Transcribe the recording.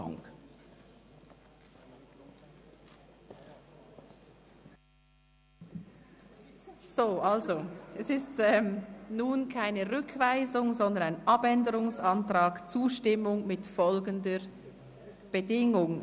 Es ist nun kein Rückweisungsantrag mehr, sondern ein Abänderungsantrag: «Zustimmung mit folgender Bedingung: